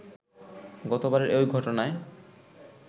গতবারের ঐ ঘটনায়